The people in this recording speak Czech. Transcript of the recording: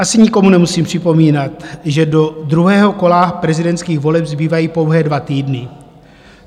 Asi nikomu nemusím připomínat, že do druhého kola prezidentských voleb zbývají pouhé dva týdny.